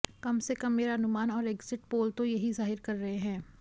कम से कम मेरा अनुमान और एग्ज़िट पोल तो यही ज़ाहिर कर रहे हैं